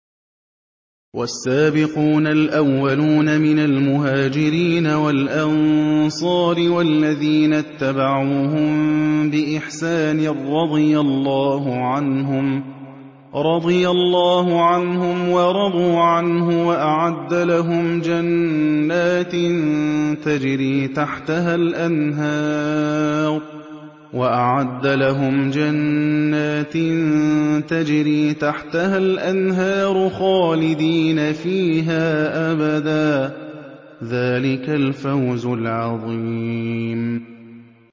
وَالسَّابِقُونَ الْأَوَّلُونَ مِنَ الْمُهَاجِرِينَ وَالْأَنصَارِ وَالَّذِينَ اتَّبَعُوهُم بِإِحْسَانٍ رَّضِيَ اللَّهُ عَنْهُمْ وَرَضُوا عَنْهُ وَأَعَدَّ لَهُمْ جَنَّاتٍ تَجْرِي تَحْتَهَا الْأَنْهَارُ خَالِدِينَ فِيهَا أَبَدًا ۚ ذَٰلِكَ الْفَوْزُ الْعَظِيمُ